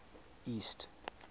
east